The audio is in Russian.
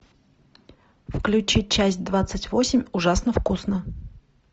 включи часть двадцать восемь ужасно вкусно